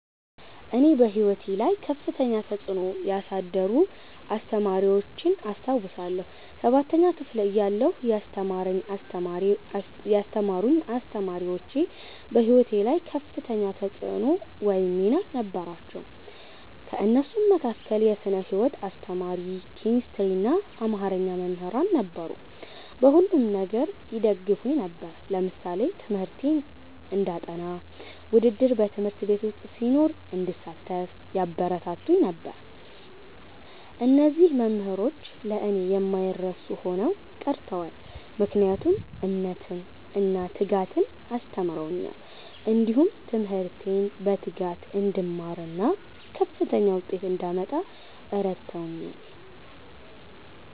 እኔ በሕይወቴ ላይ ከፍተኛ ተጽዕኖ ያሳደሩ አስተማሪዎችን አስታውሳለሁ። ሠባተኛ ክፍል እያለሁ ያስተማሩኝ አስተማሪዎች በህይወቴ ላይ ከፍተኛ ተፅዕኖ ወይም ሚና ነበራቸው። ከእነሱም መካከል የስነ ህይወት አስተማሪ፣ ኬሚስትሪና አማርኛ መምህራን ነበሩ። በሁሉም ነገር ይደግፉኝ ነበር። ለምሳሌ ትምህርቴን እንዳጠ፤ ውድድር በ ት/ቤት ዉስጥ ሲኖር እንድሳተፍ ያበረታቱኝ ነበር። እነዚህ መምህሮች ለእኔ የማይረሱ ሆነው ቀርተዋል። ምክንያቱም እምነትን እና ትጋትን አስተምረውኛል። እንዲሁም ትምህርቴን በትጋት እንድማርና ከፍተኛ ዉጤት እንዳመጣ እረድተውኛል።